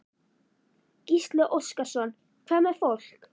Gísli Óskarsson: Hvað með fólk?